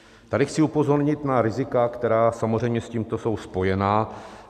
Tady chci upozornit na rizika, která samozřejmě s tímto jsou spojená.